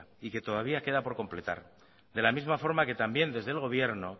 y que todavía queda que completar de la misma forma que también desde el gobierno